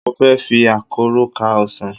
Mo fẹ́ fi àkọ́rọ́ ká ọsàn.